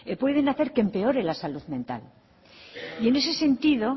pueden hacer que empeore la salud mental y en ese sentido